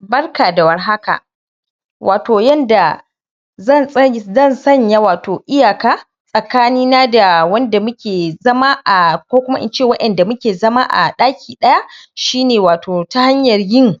Barka da war haka wato yanda zan san wato zan tsanya wato iyaka tsakanin na da wanda na mu ke zama a ko kuma ince waƴanda mu ke zama a daki daya shi ne wato ta hanyar yin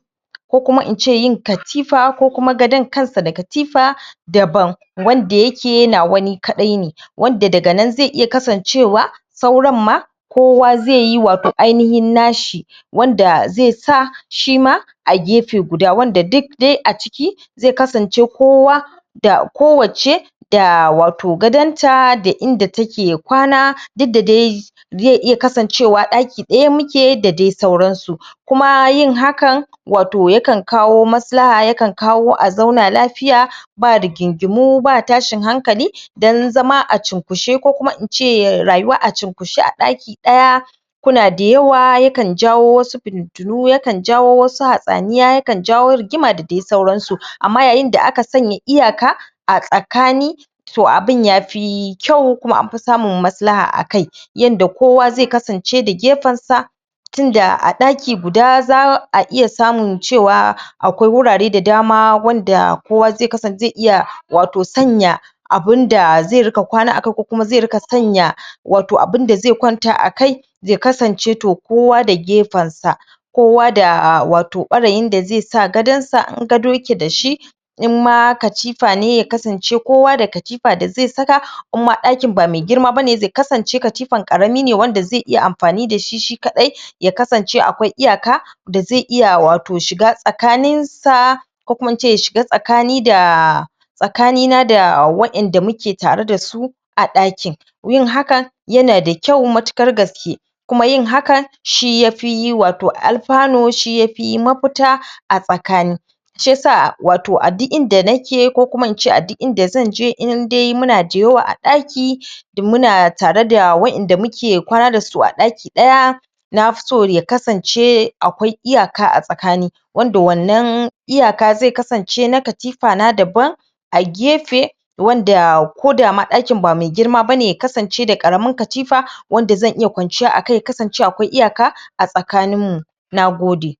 ko kuma ince yin katifa ko kuma gadon kansa da katifa daban wanda ya ke nawa ni ka dai ne wanda daga nan zai kasancewa sauran ma kowa zai yi wato ainihin na shi wanda zai sa shi ma a gefe guda, wanda da duk dai aciki zai kasance kowa da kowace da wato gadon ta da inda ta ke kwana duk da dai zai iya kasancewa a daki daya da dai sauran su kuma yin haka wato ya kan kawo masalaha, ya kan kawo a zauna lafiya ba rigingimu, ba tashin hankali don zama a cinkushe ko kuma ince rayuwa a cinkushe a daki daya ku na dayawa, ya kan jawo wasu fititinmuya kan jawo wasu hadaniya, ya kan jawo rigima da dai sauransu amma yayin da aka sanye iyaka a tsakani toh abun ya fi kyau kuma anfi samu maslaha a kai yanda kowa zai kasance da gefen sa tun da a daki guda zaa iya samu cewa akwai wurare da dama wanda kowa zai kasance, zai iya wato sanya abunda zai rika kwanta akai ko kuma zai rika sanya wato abunda zai kwanta akai, zai kasance toh kowa da gefen sa kowa da wato kwarayi da zai sa gadon sa, in gado ya ke da shi in ma katifa ne ya kasance kowa da katifa da zai saka imma, dakin ba mai girma bane zai kasance katifa karami ne wanda zai iya amfani da shi kadai ya kasance akwai iyaka da zai iya wato shiga tsakanin sa ko kuma ince ya shiga tsakani da tsakani na da waƴanda mu ke tare da su a dakin yin haka ya na da kyau matukar gaske kuma yin ha ka, shi yafi wato alfano wato shi ya fi mafuta a tsakani Shi ya sa wato a duk inda nake ko kuma ince a duk inda zan je indai mu na dayawa a daki in mu na tare da waƴanda mu ke kwana da su a daki daya na fi so ya kasance akwai iyaka a tsakani wanda wannan iyaka zai kasance na katifa na daban. a gefe wanda ma ko dama daki ba mai girma bane ya kasance da karamin katifa wanda zan iya kwance akai ya kasance akwai iyaka a tsakanin mu, nagode.